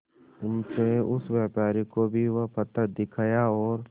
उनसे उस व्यापारी को भी वो पत्थर दिखाया और